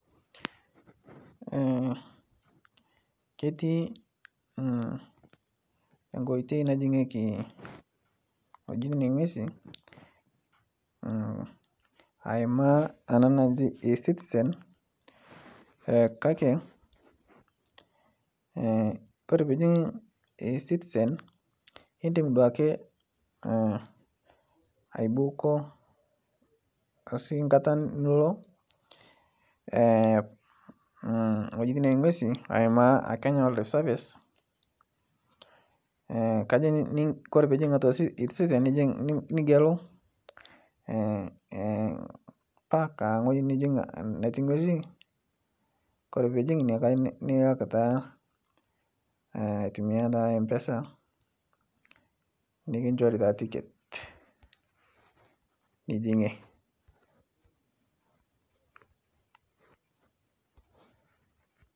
Ketii nkoitei najingeki ng'ojitin engwesi aimaa ana naji ecitisen kake kore pijing ecitisen indim duake aibuuko osi nkata ilo ng'ojitin engwesi aimaa Kenya wildlife service kajo kore pijing atua ecitisen nigelu park angoji nijing netii ng'wesi kore pijing ine nilak taa atumia naa mpesa nikinjori taa tiket nijing'ie